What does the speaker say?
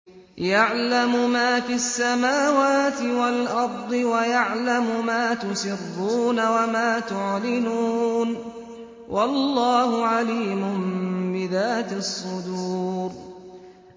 يَعْلَمُ مَا فِي السَّمَاوَاتِ وَالْأَرْضِ وَيَعْلَمُ مَا تُسِرُّونَ وَمَا تُعْلِنُونَ ۚ وَاللَّهُ عَلِيمٌ بِذَاتِ الصُّدُورِ